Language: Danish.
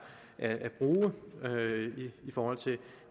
at bruge i forhold til